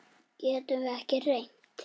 Getum við ekki reynt?